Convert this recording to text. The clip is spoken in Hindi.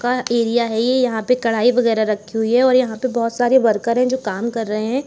का एरिया है। यहां पे कढ़ाई वगैरह रखी हुई है और यहां पर बहुत सारे वर्कर हैं जो काम कर रहे हैं।